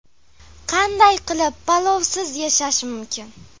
Qanday qilib palovsiz yashash mumkin?